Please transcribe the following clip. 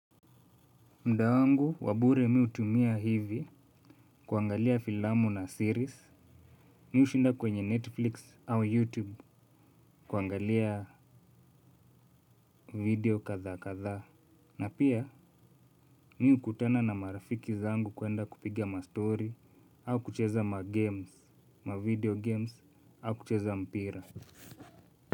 Muda wangu wa bure mimi hutumia hivi kuangalia filamu na series. Mimi hushinda kwenye Netflix au YouTube kuangalia video kadha kadhaa. Na pia mimi hukutana na marafiki zangu kwenda kupigia ma stori au kucheza ma games, ma video games au kucheza mpira.